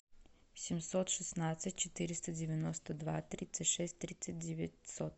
семьсот шестнадцать четыреста девяносто два тридцать шесть тридцать девятьсот